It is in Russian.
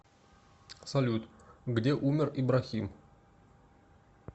салют где умер ибрахим